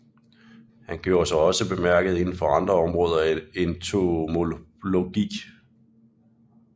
Han gjorde sig også bemærket inden for andre områder af entomologi